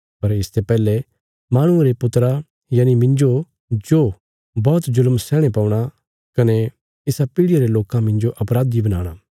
पर इसते पहले माहणुये रे पुत्रा यनि मिन्जो जो बौहत जुल्म सैहणे पौणा कने इसा पीढ़ियां रे लोकां मिन्जो अपराधी बनाणा